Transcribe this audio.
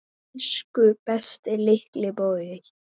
Elsku besti litli bróðir.